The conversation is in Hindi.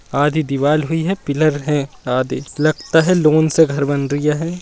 आधी दीवार हुई है पिलर है लगता है लोन से घर बन रहा है।